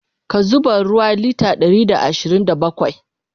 ka zuba ruwa litre Ɗari da ashirin da bakwai!